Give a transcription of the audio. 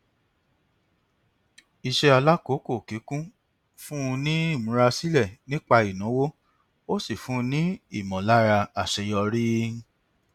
iṣẹ alákòókòkíkún fún un ní ìmúrasílẹ nípa ìnáwó ó sì fún un ní ìmọlára àṣeyọrí